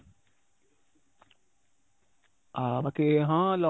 ହଁ, ବାକି ହଁ